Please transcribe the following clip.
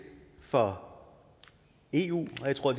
for eu og jeg tror